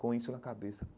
Com isso na cabeça.